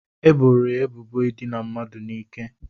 E boro ya ebubo idina mmadụ n'ike.